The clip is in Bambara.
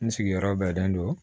N sigiyɔrɔ bɛnnen don